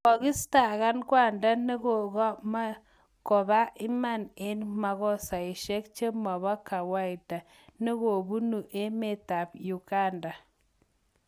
Kokiistakan kwanda ne komakopa iman eng' makoseshek chemabo kawaida negobunu emeet ab Uganda